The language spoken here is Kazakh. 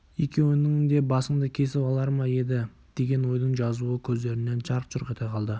екеуіңнің де басыңды кесіп алар ма еді деген ойдың жазуы көздерінен жарқ-жұрқ ете қалды